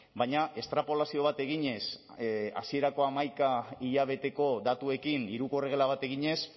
baina estrapolazio bat eginez hasierako hamaika hilabeteko datuekin hiruko erregela bat eginez